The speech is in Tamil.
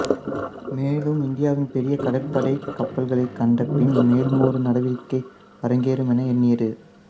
மேலும் இந்தியாவின் பெரிய கடற்படை கப்பல்களை கண்டப்பின் மேலுமொரு நடவடிக்கை அரங்கேறும் என எண்ணியது